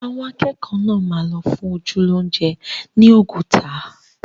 Àwọn akẹ́kọ̀ọ́ náà máa lọ fún ojú lóúnjẹ ni Oguta